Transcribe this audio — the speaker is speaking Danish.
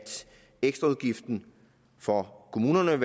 ekstraudgiften for kommunerne